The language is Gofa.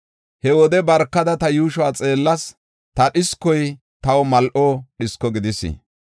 He wode barkada ta yuushuwa xeellas; ta dhiskoy taw mal7o dhisko gidis.